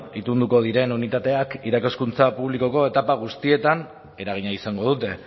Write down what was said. itunduko diren unitateek irakaskuntza publikoko etapa guztietan eragina izango dute